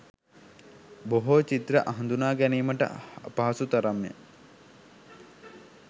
බොහෝ චිත්‍ර හඳුනාගැනීමට අපහසු තරම් ය.